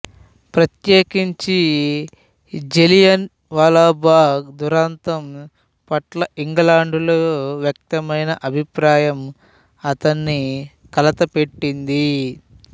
ప్రత్యేకించి జలియన్ వాలాబాగ్ దురంతం పట్ల ఇంగ్లండులో వ్యక్తమైన అభిప్రాయం అతన్ని కలతపెట్టింది